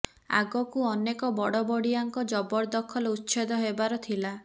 ଆଗକୁ ଅନେକ ବଡ ବଡିଆଙ୍କ ଜବରଦଖଲ ଉଚ୍ଛେଦ ହେବାର ଥିଲା